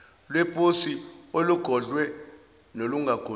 lweposi olugodliwe nolungagodliwe